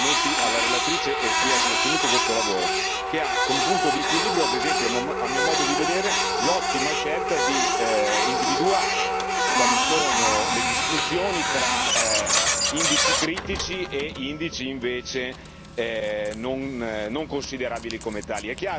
Quindi complimenti alla relatrice e a chi ha sostenuto questo lavoro, che ha come punto d'equilibrio, ad esempio, a mio modo di vedere, l'ottima scelta di individuare quali sono le distinzioni tra indici critici e indici invece non considerabili come tali.